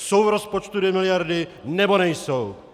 Jsou v rozpočtu dvě miliardy, nebo nejsou!